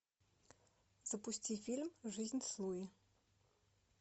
запусти фильм жизнь с луи